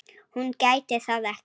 Hún gæti það ekki.